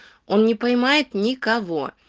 он не понимает никого